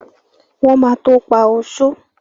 Wọ́n ma tó pá oṣó